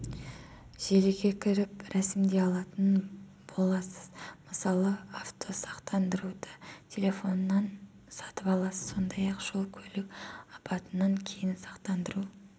желіге кіріп рәсімдей алатын боласыз мысалы автосақтандыруды телефоннан сатып аласыз сондай-ақ жол-көлік апатынан кейін сақтандыру